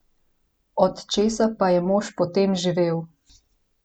Od česa pa je mož potem živel?